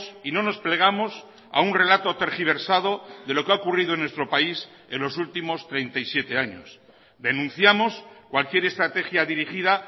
y no nos plegamos a un relato tergiversado de lo que ha ocurrido en nuestro país en los últimos treinta y siete años denunciamos cualquier estrategia dirigida